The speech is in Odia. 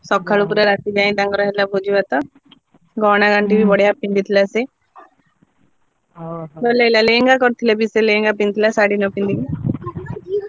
ସଖାଳୁ ପୁରା ରାତି ଯାଏ ତାଙ୍କର ହେଲା ଭୋଜି ଭାତ, ଗହଣା ଗାଣ୍ଠି ବି ବଢିଆ ପିନ୍ଧିଥିଲା ସେ ଭଲ ହେଲା ଲେହେଙ୍ଗା କରିଥିଲେ ବି ସେ ଲେହେଙ୍ଗା ପିନ୍ଧିଥିଲା ଶାଢୀ ନପିନ୍ଧି।